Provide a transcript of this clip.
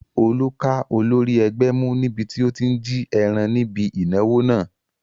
Olú ká olórí ẹgbẹ́ mú níbi tí ó tí n jí ẹran níbi ìnáwó náà